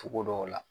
Togo dɔw la